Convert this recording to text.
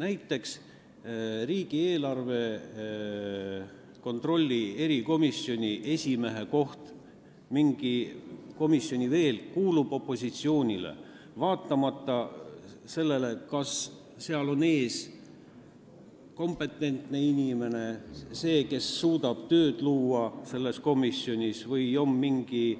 Näiteks kuulub riigieelarve kontrolli erikomisjoni esimehe koht ja veel mingi komisjoni esimehe koht opositsioonile, vaatamata sellele, kas see esimees on kompetentne inimene, kes suudab luua selles komisjonis tööõhkkonna, või mingi